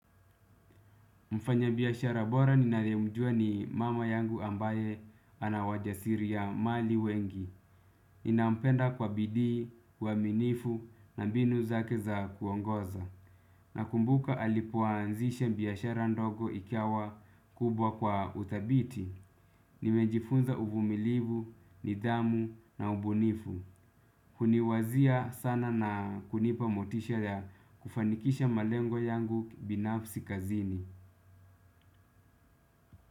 Mfanya biashara bora ninayemjua ni mama yangu ambaye ana wajasiri ya mali wengi. Ninampenda kwa bidii, uaminifu na mbinu zake za kuongoza. Nakumbuka alipoanzisha biashara ndogo ikawa kubwa kwa udhabiti. Nimejifunza uvumilivu, nidhamu na ubunifu. Kuniwazia sana na kunipa motisha ya kufanikisha malengo yangu binafsi kazini.